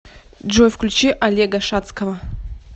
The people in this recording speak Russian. джой включи олега шадского